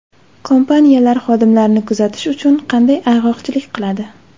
Kompaniyalar xodimlarini kuzatish uchun qanday ayg‘oqchilik qiladi?.